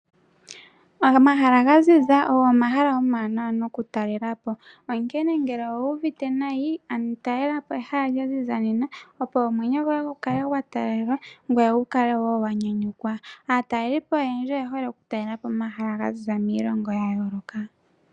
Omahala gaziza ogo omahala omawanawa noku talela po, onkene ngele owu uvite nayi ano talela po ehala lya ziza nena, opo omwenyo goye gu kale gwa talalelwa ngoye wu kale wo wanyanyukwa. Aataleli po oyendji oye hole oku talela po omahala ga ziza miilongo ya yooloka.